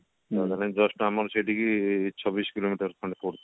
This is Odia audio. just ଆମର ସେଇଠିକି ଛବିଶି କିଲୋମିଟର ଖଣ୍ଡେ ପଡୁଛି